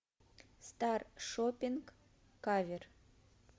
стар шопинг кавер